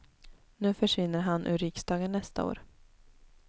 Nu försvinner han ur riksdagen nästa år.